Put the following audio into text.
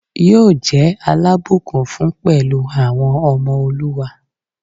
Yóò jẹ́ alábùkún fún pẹ̀lú àwọn ọmọ olúwa